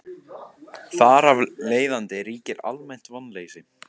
Þar af leiðandi ríkir almennt vonleysi.